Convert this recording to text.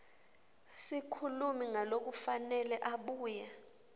sikhulumi ngalokufanele abuye